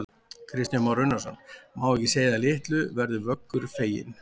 Kristján Már Unnarsson: Má ekki segja að litlu verður Vöggur feginn?